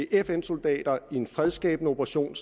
fns soldater i en fredsskabende operation